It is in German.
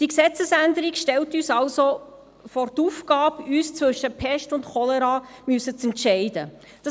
Die Gesetzesänderung stellt uns also vor die Aufgabe, uns zwischen Pest und Cholera entscheiden zu müssen.